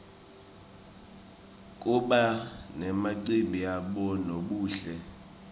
kuba nemacimbi yabonobuhle